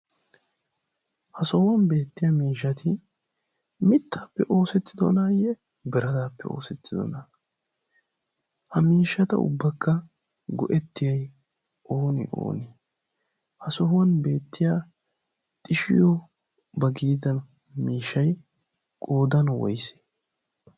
ha sohuwan beettiya miishati mittaappe oosettidonaayye biradaappe oosettidona ha miishshata ubbakka go'ettiyai ooni ooni ha sohuwan beettiya xishiyo ba giida miishay qoodan woysee?